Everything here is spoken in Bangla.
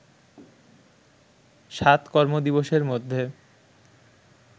সাত কর্মদিবসের মধ্যে